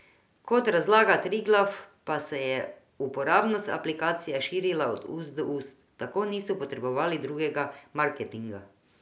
Kot razlaga Triglav pa se je uporabnost aplikacije širila od ust do ust, tako niso potrebovali drugega marketinga.